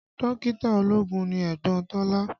Dókítà ológun ni ẹ̀gbọ́n Tọ́lá